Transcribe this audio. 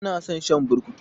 Ya na son shan burkutu.